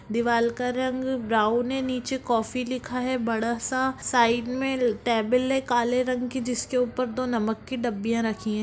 दीवाल का रंग ब्राउन है नीचे कॉफी लिखा है बड़ा सा साइड में टेबल है काले रंग की जिसके ऊपर दो नमक की डबिया रखी है।